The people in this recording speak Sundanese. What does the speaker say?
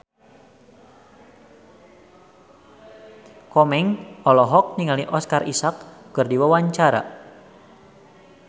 Komeng olohok ningali Oscar Isaac keur diwawancara